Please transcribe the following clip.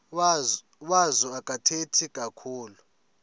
wazo akathethi kakhulu